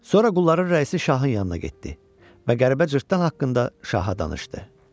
Sonra qulların rəisi şahın yanına getdi və qəribə cırtdan haqqında şaha danışdı.